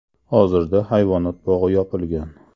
Hozirda hayvonot bog‘i yopilgan.